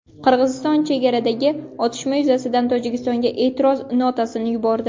Qirg‘iziston chegaradagi otishma yuzasidan Tojikistonga e’tiroz notasini yubordi.